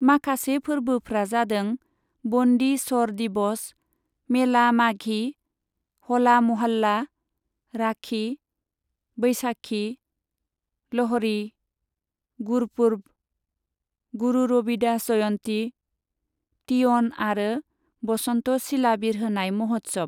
माखासे फोरबोफ्रा जादों, बन्दी छर दिबस, मेला माघी, ह'ला म'हाल्ला, राखि, बैशाखी, ल'हड़ी, गुरपर्ब, गुरु रबिदास जयन्ती, तीयन आरो बसन्त सिला बिरहोनाय मह'त्सब।